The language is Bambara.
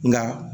Nka